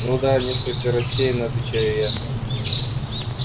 ну да несколько растеряно отвечаю я